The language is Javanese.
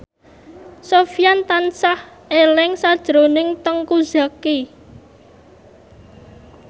Sofyan tansah eling sakjroning Teuku Zacky